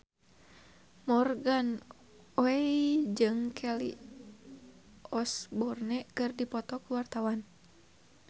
Morgan Oey jeung Kelly Osbourne keur dipoto ku wartawan